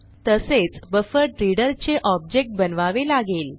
तसेच बफरड्रीस्डर चे ऑब्जेक्ट बनवावे लागेल